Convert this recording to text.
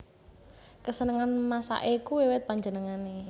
Kesenengan masake iku wiwit panjenengane